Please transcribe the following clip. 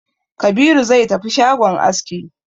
Kabiru zai tafi shagon aski